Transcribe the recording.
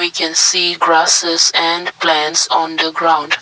we can see grocess and plants on the ground.